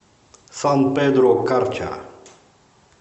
сан педро карча